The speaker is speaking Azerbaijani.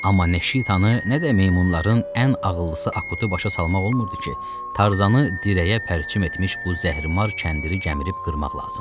Amma nə Şitanı, nə də meymunların ən ağıllısı Akutu başa salmaq olmurdu ki, Tarzanı dirəyə pərçim etmiş bu zəhrimar kəndiri gəmirib qırmaq lazımdı.